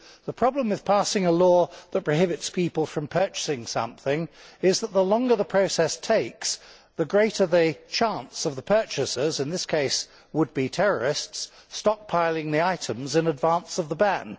The problem with passing a law which prohibits people from purchasing something is that, the longer the process takes, the greater the chance of the purchasers in this case would be terrorists stockpiling the items in advance of the ban.